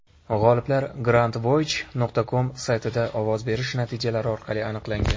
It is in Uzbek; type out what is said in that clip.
G‘oliblar Grandvoyage.com saytida ovoz berish natijalari orqali aniqlangan.